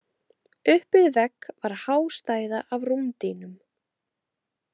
Upp við vegg var há stæða af rúmdýnum.